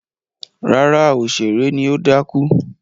Rárá, òṣèré ni ó dákú.